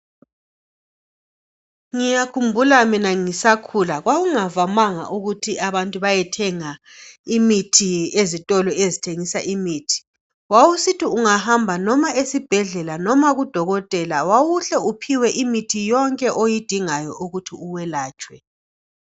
Ngiyakhumbula mina ngisakhula kwakungavamanga ukuthi abantu bayethenga imithi ezitolo ezithengisa imithi. Wawusithi ungahamba noma esibhedlela noma ku Dokotela wawuhle uphiwe imithi yonke oyidingayo ukuthi uwelatshwe.